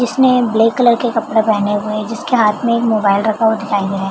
जिसने black colour के कपड़े पहने हुए है जिसके हाथ में एक मोबाइल रखा हुआ दिखाई दे रहा है।